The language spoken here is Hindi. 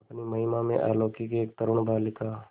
अपनी महिमा में अलौकिक एक तरूण बालिका